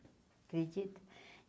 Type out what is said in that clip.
Acredita?